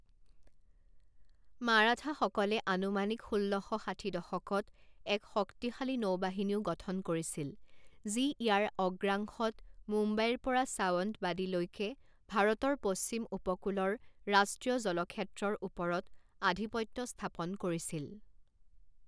মাৰাঠাসকলে আনুমানিক ষোল্ল শ ষাঠি দশকত এক শক্তিশালী নৌবাহিনীও গঠন কৰিছিল, যি ইয়াৰ অগ্ৰাংশত মুম্বাইৰ পৰা সাৱন্তবাদীলৈকে ভাৰতৰ পশ্চিম উপকূলৰ ৰাষ্ট্ৰীয় জলক্ষেত্ৰৰ ওপৰত আধিপত্য স্থাপন কৰিছিল।